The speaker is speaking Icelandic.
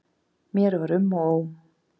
Mér var um og ó.